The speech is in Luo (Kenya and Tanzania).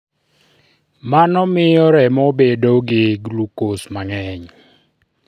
Mano miyo remo bedo gi glucose mang'eny.